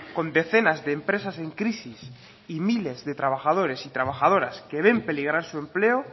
con decenas de empresas en crisis y miles de trabajadores y trabajadoras que ven peligrar su empleo